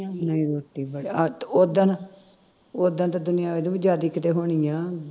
ਇੰਨੀ ਰੋਟੀ ਬਣਾਈ ਅਹ ਤੇ ਉਦਨ ਉਦਨ ਤੇ ਦੁਨੀਆਂ ਇਹ ਤੋਂ ਜਿਆਦਾ ਕਿਤੇ ਹੋਣੀ ਆ